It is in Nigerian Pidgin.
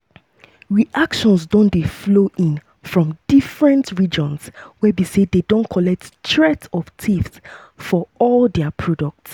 reactions don dey flow in from di different regions wey be say don collect di threat of tariffs for all dia products.